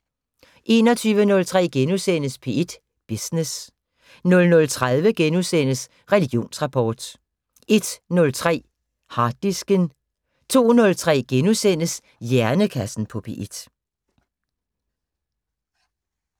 21:03: P1 Business * 00:30: Religionsrapport * 01:03: Harddisken 02:03: Hjernekassen på P1 *